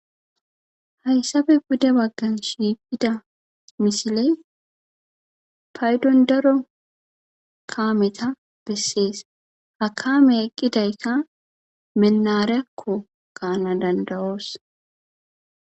hayssabe dude baggan shiiqida misiley paydon daro kaameta bessees ha kaame eqqidayka menari7akko gaana danda7oos.